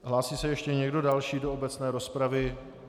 Hlásí se ještě někdo další do obecné rozpravy?